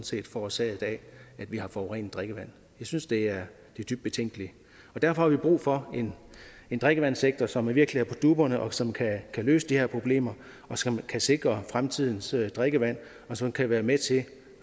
set forårsaget af at vi har forurenet drikkevand jeg synes det er dybt betænkeligt derfor har vi brug for en drikkevandssektor som virkelig er på dupperne og som kan løse de her problemer og som kan sikre fremtidens drikkevand og som kan være med til